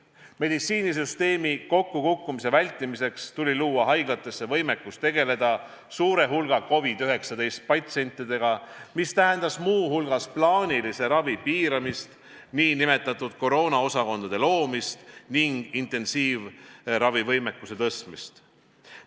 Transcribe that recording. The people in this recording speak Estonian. Meditsiinisüsteemi kokkukukkumise vältimiseks tuli luua haiglatesse võimekus tegeleda suure hulga COVID-19 patsientidega, mis tähendas muu hulgas plaanilise ravi piiramist, nn koroonaosakondade loomist ning intensiivravivõimekuse tõstmist.